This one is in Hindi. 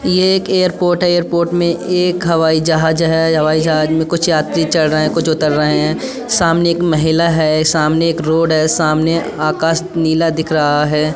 यह एक एयरपोर्ट है। एयरपोर्ट में एक हवाई जहाज है। हवाई जहाज में कुछ यात्री चढ़ रहे हैं कुछ उतर रहे हैं। सामने एक महिला है। सामने एक रोड है। सामने आकाश नीला दिख रहा है।